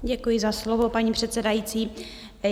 Děkuji za slovo, paní předsedající.